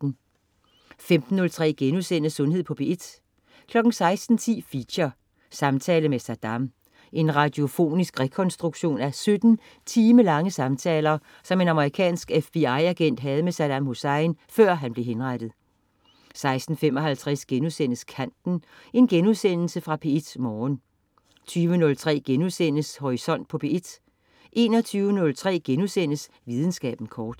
15.03 Sundhed på P1* 16.10 Feature: Samtale med Saddam. En radiofonisk rekonstruktion af 17 timelange samtaler, som en amerikansk FBI-agent havde med Saddam Hussein, før han blev henrettet 16.55 Kanten.* Genudsendelse fra P1 Morgen 20.03 Horisont på P1* 21.03 Videnskaben kort*